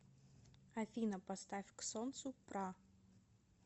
афина поставь к солнцу пра